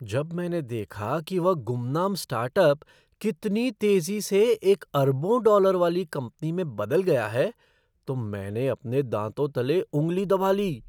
जब मैंने देखा कि वह गुमनाम स्टार्टअप कितनी तेज़ी से एक अरबों डॉलर वाली कंपनी में बदल गया है तो मैंने अपने दाँतों तले उँगली दबा ली।